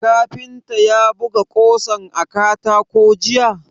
Kafintan ya buga ƙosan a katako jiya?